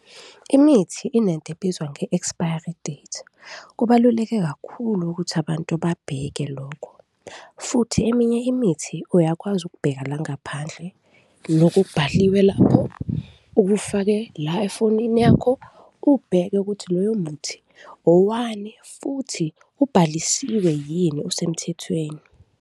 Imithi inento ebizwa nge-expiry date, kubaluleke kakhulu ukuthi abantu babheke lokho futhi eminye imithi uyakwazi ukubheka la ngaphandle, lokubhaliwe lapho ukufake la efonini yakho, ubheke ukuthi loyo muthi owani futhi ubhalisiwe yini, usemthethweni?